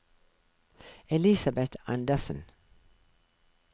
Elisabeth Anderssen